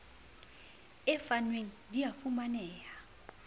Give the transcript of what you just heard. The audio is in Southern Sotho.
e fanweng di a fumaneha